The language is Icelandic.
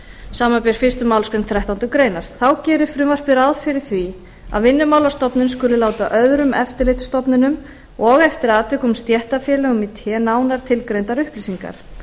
samanber fyrstu málsgreinar þrettándu grein þá gerir frumvarpið ráð fyrir því að vinnumálastofnun skuli láta öðrum eftirlitsstofnunum og eftir atvikum stéttarfélögum í té nánar tilgreindar upplýsingar